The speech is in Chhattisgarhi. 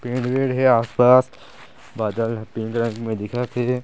पेड़ वेड़ हे आस-पास बादल ह तीन रंग में दिखत हे।